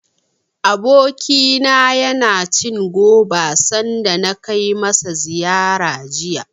Abokina yana cin goba, sanda na kai masa ziyara jiya.